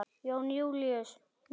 Jón Júlíus: Mikið?